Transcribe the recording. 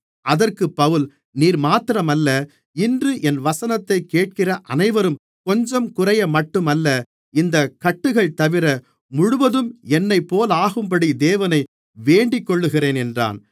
அதற்குப் பவுல் நீர் மாத்திரமல்ல இன்று என் வசனத்தைக் கேட்கிற அனைவரும் கொஞ்சங்குறையமட்டும் அல்ல இந்தக் கட்டுகள்தவிர முழுவதும் என்னைப்போலாகும்படி தேவனை வேண்டிக்கொள்ளுகிறேன் என்றான்